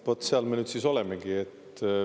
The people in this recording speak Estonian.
No vot, seal me nüüd siis olemegi.